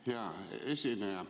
Hea esineja!